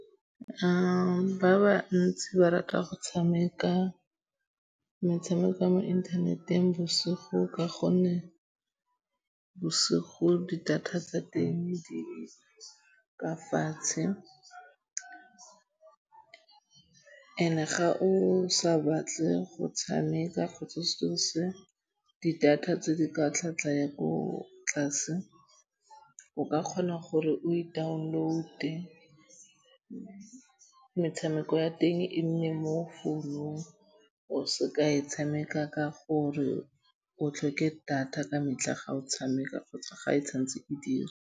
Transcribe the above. Ba bantsi ba rata go tshameka metshameko ya mo internet-eng bosigo ka gonne bosigo di data tsa teng di ka fatshe and-e ga o sa batle go tshameka kgotsa di data tse di ka tlhatlhwa ya ko tlase. O ka kgona gore o e download-e metshameko ya teng e nne mo founung. O seka e tshameka ka gore o tlhoke data ka metlha ga o tshameka kgotsa ga e santse e dira.